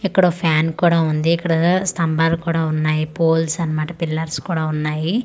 ఇక్కడ ఒక ఫ్యాన్ కూడా ఉంది ఇక్కడ స్తంబలు కూడా ఉన్నాయి పోల్స్ అన్నమాట పిల్లర్స్ కూడా ఉన్నాయి అలా--